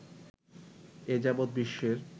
এ যাবৎ বিশ্বের